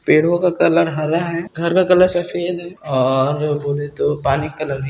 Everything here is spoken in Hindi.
पेड़ो का कलर हरा है घर का कलर सफेद है और बोले तो पानी कलर भी --